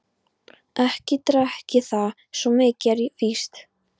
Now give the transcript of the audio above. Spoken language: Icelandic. Ekki drekk ég það, svo mikið er víst.